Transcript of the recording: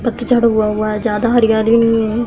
पतझड़ हुआ हुआ है। ज्यादा हरियाली नही है।